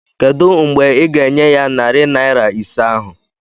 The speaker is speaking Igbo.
Kedụ mgbe ị ga-enye ya narị naịra ise ahụ?